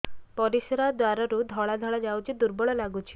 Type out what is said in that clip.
ପରିଶ୍ରା ଦ୍ୱାର ରୁ ଧଳା ଧଳା ଯାଉଚି ଦୁର୍ବଳ ଲାଗୁଚି